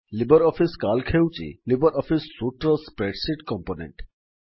Libre Office CALC ହେଉଛି Libre Office suite ର spreadsheet component